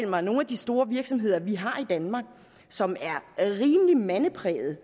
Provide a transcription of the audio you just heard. mig at nogle af de store virksomheder vi har i danmark som er rimelig mandeprægede